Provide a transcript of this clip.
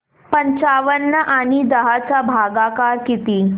पंचावन्न आणि दहा चा भागाकार किती